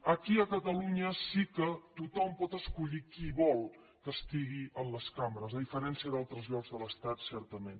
aquí a catalunya sí que tothom pot escollir qui vol que estigui en les cambres a diferència d’altres llocs de l’estat certament